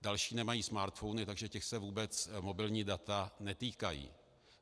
Další nemají smartphony, takže těch se vůbec mobilní data netýkají.